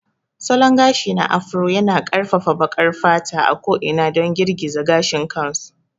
Salon gashi na Afro yana ƙarfafa baƙar fata a ko'ina don girgiza gashin kansu.